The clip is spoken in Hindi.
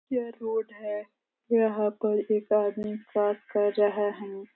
यह रोड है। यहाँ पर एक आदमी सैर कर रहा हूँ।